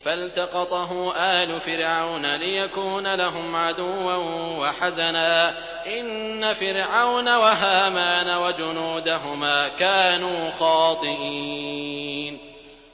فَالْتَقَطَهُ آلُ فِرْعَوْنَ لِيَكُونَ لَهُمْ عَدُوًّا وَحَزَنًا ۗ إِنَّ فِرْعَوْنَ وَهَامَانَ وَجُنُودَهُمَا كَانُوا خَاطِئِينَ